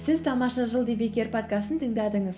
сәз тамаша жыл подкастын тыңдадыңыз